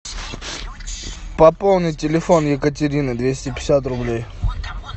пополни телефон екатерины двести пятьдесят рублей